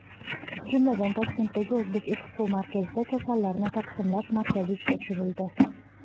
Jumladan, Toshkentdagi O‘zekspomarkazda kasallarni taqsimlash markazi ishga tushirildi.